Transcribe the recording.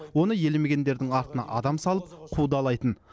оны елемегендердің артына адам салып қудалайтын